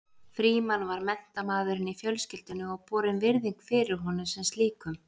Frímann var menntamaðurinn í fjölskyldunni og borin virðing fyrir honum sem slíkum.